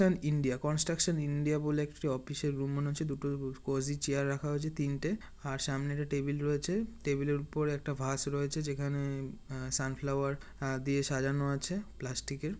শন India construction India বলে একটি office -এর রুম মনে হচ্ছে দুটো উ কজি চেয়ার রাখা হয়েছে তিনটে। আর সামনে একটি টেবিল রয়েছে। টেবিলের উপর একটা ভাস রয়েছে যেখানে আ সানফ্লাওয়ার আ দিয়ে সাজানো আছে প্লাস্টিক -এর।